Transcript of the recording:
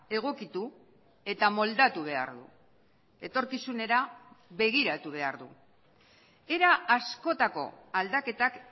egokitu eta moldatu behar du etorkizunera begiratu behar du era askotako aldaketak